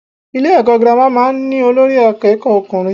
Ilé èkó girama máa n ní Olórí akéèkó okùnrin